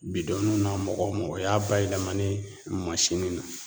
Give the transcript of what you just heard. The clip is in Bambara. na mɔgɔw y'a bayɛlɛmali ye mansinw na